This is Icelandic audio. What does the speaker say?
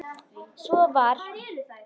Svo var.